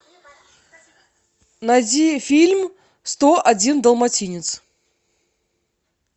найди фильм сто один далматинец